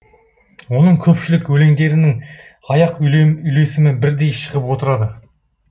оның көпшілік өлеңдерінің аяқ үйлесімі бірдей шығып отырады